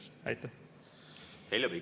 Heljo Pikhof, palun!